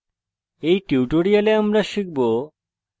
in tutorial আমরা শিখব